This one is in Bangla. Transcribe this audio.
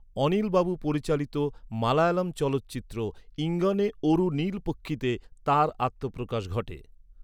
অনিলবাবু পরিচালিত মালায়ালাম চলচ্চিত্র 'ইঙ্গনে ওরু নীলপক্ষী'তে তাঁর আত্মপ্রকাশ ঘটে।